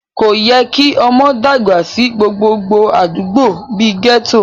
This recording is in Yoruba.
Kò yẹ kí ọmọ dàgbà sí gbogbo àdúgbò bí i gẹ́tò